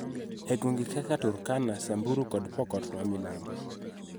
E gwenge kaka Turkana, Samburu, kod Pokot ma milambo,